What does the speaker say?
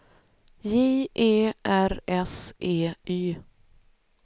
J E R S E Y